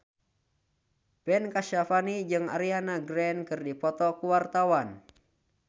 Ben Kasyafani jeung Ariana Grande keur dipoto ku wartawan